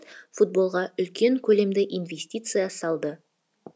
мемлекет футболға үлкен көлемді инвестиция салды